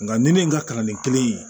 Nka ni ne ye n ka kalanden kelen ye